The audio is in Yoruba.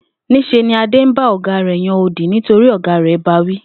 Ní s̩e ni Adé ń bá ò̩gá rè̩ yan odì nítorí ò̩gá rè̩ ba wí